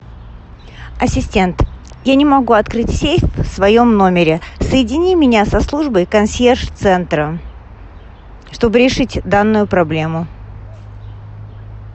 ассистент я не могу открыть сейф в своем номере соедини меня со службой консьерж центра чтобы решить данную проблему